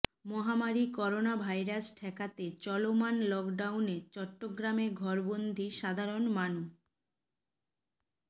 মহামারি করোনাভাইরাস ঠেকাতে চলমান লকডাউনে চট্টগ্রামে ঘরবন্দী সাধারণ মানু